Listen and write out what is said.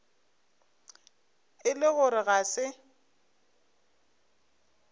e le gore ga se